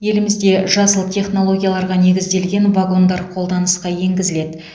елімізде жасыл технологияларға негізделген вагондар қолданысқа енгізіледі